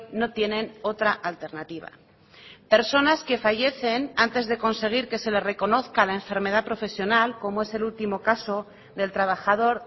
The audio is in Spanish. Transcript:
no tienen otra alternativa personas que fallecen antes de conseguir que se le reconozca la enfermedad profesional como es el último caso del trabajador